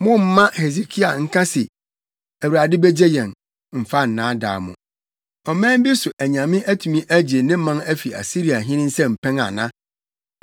“Mommma Hesekia nka se, ‘ Awurade begye yɛn,’ mfa nnaadaa mo. Ɔman bi so nyame atumi agye ne man afi Asiriahene nsam pɛn ana?